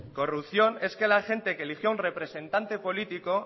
corrupción es que la gente que eligió un representante político